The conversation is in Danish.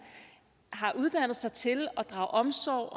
har uddannet sig til at drage omsorg